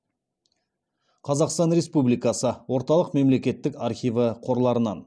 қазақстан республикасы орталық мемлекеттік архиві қорларынан